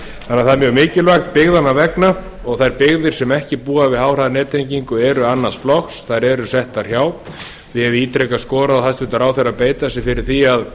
það er mjög mikilvægt byggðanna vegna og þær byggðir sem ekki búa við háhraðanettengingu eru annars flokks þær eru settar hjá ég hef ítrekað skorað á hæstvirtan ráðherra að beita sér fyrir því að